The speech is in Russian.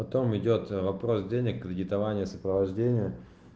потом идёт вопрос денег кредитование сопровождение